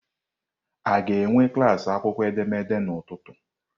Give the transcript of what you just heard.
A ga-enwe klas akwụkwọ edemede n'ụtụtụ?